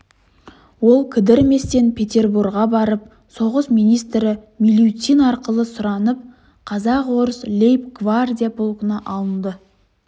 ол кідірместен петерборға барып соғыс министрі милютин арқылы сұранып қазақ-орыс лейб-гвардия полкына алынды